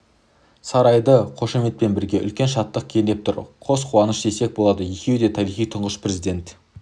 сарайды қошеметпен бірге үлкен шаттық кернеп тұр қос қуаныш десек болады екеуі де тарихи тұңғыш президент